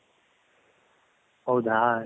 ಹೌದ